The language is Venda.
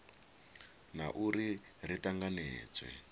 na u ri ri tanganedzwe